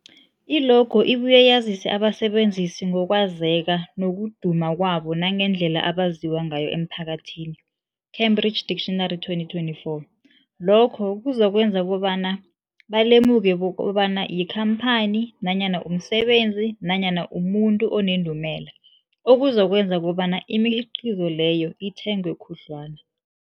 I-logo ibuye yazise abasebenzisi ngokwazeka nokuduma kwabo nangendlela abaziwa ngayo emphakathini, Cambridge Dictionary 2024. Lokho kuzokwenza kobana balemuke kobana yikhamphani nanyana umsebenzi nanyana umuntu onendumela, okuzokwenza kobana imikhiqhizo leyo ithengwe khudlwana.